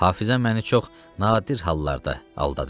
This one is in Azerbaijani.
Hafizə məni çox nadir hallarda aldadır.